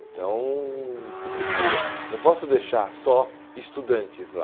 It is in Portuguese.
Então se precisa, não posso deixar só estudantes lá.